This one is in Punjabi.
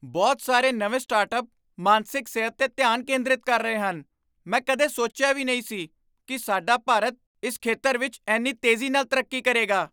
ਬਹੁਤ ਸਾਰੇ ਨਵੇਂ ਸਟਾਰਟਅੱਪ ਮਾਨਸਿਕ ਸਿਹਤ 'ਤੇ ਧਿਆਨ ਕੇਂਦਰਿਤ ਕਰ ਰਹੇ ਹਨ! ਮੈਂ ਕਦੇ ਸੋਚਿਆ ਵੀ ਨਹੀਂ ਸੀ ਕਿ ਸਾਡਾ ਭਾਰਤ ਇਸ ਖੇਤਰ ਵਿੱਚ ਇੰਨੀ ਤੇਜ਼ੀ ਨਾਲ ਤਰੱਕੀ ਕਰੇਗਾ।